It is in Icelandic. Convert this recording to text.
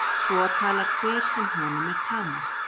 Svo talar hver sem honum er tamast.